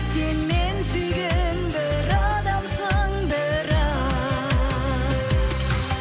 сен мен сүйген бір адамсың бірақ